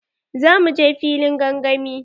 Za mu je filin gangami.